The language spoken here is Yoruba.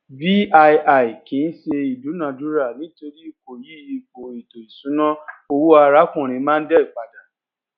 vii kìí ṣe ìdúnadúrà nítorí kò yí ipò ètò ìṣúná owó arákùnrin mondal pada